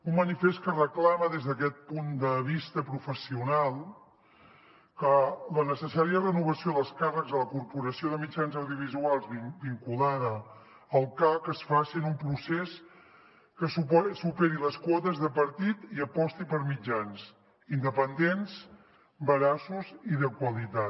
un manifest que reclama des d’aquest punt de vista professional que la necessària renovació dels càrrecs a la corporació de mitjans audiovisuals vinculada al cac es faci en un procés que superi les quotes de partit i aposti per mitjans independents veraços i de qualitat